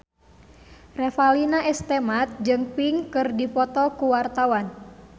Revalina S. Temat jeung Pink keur dipoto ku wartawan